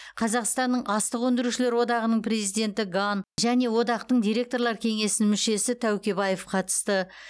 қазақстанның астық өңдеушілер одағының президенті ган және одақтың директорлар кеңесінің мүшесі тәукебаев қатысты